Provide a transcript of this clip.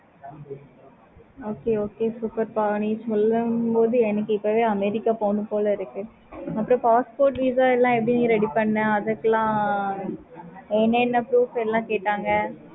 okay okay சூப்பேர்ப்ப நீ சொல்லும் போதே எனக்கு இப்பவே america போனும் போல இருக்கு. அப்பறம் passport VISA எப்படி ready பண்ண அதுக்கெல்லாம் என்ன என்ன proof எல்லாம் கேட்டாங்க.